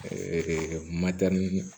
Ɛɛ madamu